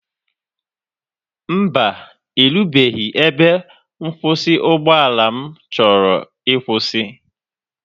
Mba, erubeghị ebe nkwụsị ụgbọala m chọrọ ịkwụsị.